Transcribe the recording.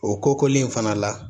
O kokolen fana la